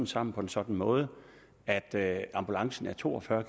sammen på en sådan måde at at ambulancen er to og fyrre